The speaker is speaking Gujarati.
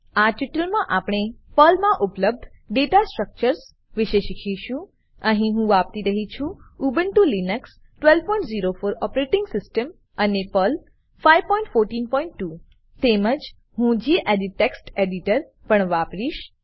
આ ટ્યુટોરીયલમાં આપણે પર્લમા ઉપલબ્ધ દાતા સ્ટ્રકચર્સ વિશે શીખીશું અહીહું વાપરી રહ્યી છું ઉબુન્ટુ લીનક્સ 1204 ઓપરેટીંગ સીસ્ટમ અને પર્લ પર્લ 5142 તેમજ હું ગેડિટ ટેક્સ્ટ એડીટર પણ વાપરીશ